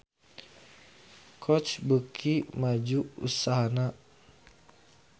Coach beuki maju usahana